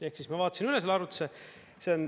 Ehk siis ma vaatasin üle selle arvutuse.